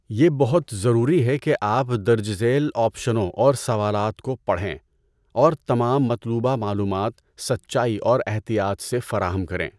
یہ بہت ضروری ہے کہ آپ درج ذیل آپشنوں اور سوالات کو پڑھیں، اور تمام مطلوبہ معلومات سچائی اور احتیاط سے فراہم کریں۔